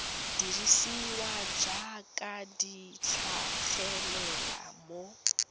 dirisiwa jaaka di tlhagelela mo